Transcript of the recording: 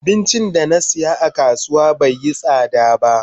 Abincin da na siya a kasuwa bai yi sada ba.